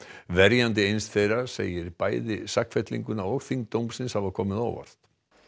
verjandi eins þeirra segir bæði sakfellinguna og þyngd dómsins hafa komið á óvart